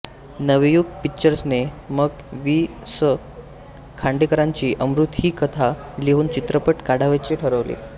नवयुग पिक्चर्सने मग वि स खांडेकरांची अमृत ही कथा घेऊन चित्रपट काढावयाचे ठरवले